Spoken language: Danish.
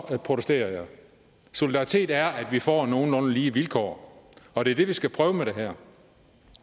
jeg protesterer solidaritet er at vi får nogenlunde lige vilkår og det er det vi skal prøve med det her